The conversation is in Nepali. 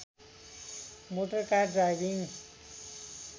motor car driving